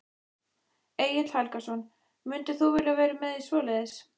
Egill Helgason: Mundir þú vilja vera með í svoleiðis?